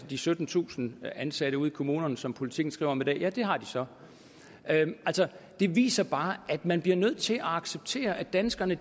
de syttentusind ansatte ude i kommunerne som politiken skriver om i dag ja det har de så det viser bare at man bliver nødt til at acceptere at danskerne